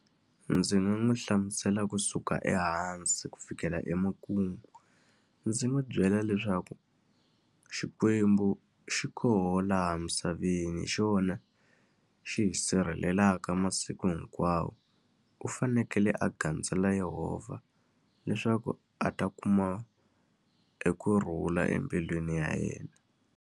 Ndzi nga n'wi hlamusela kusuka ehansi ku fikela emakumu. Ndzi n'wi byela leswaku Xikwembu xi koho laha misaveni, hi xona xi hi sirhelelaka masiku hinkwawo. U fanekele a gandzela Yehovha leswaku a ta kuma ekurhula embilwini ya yena.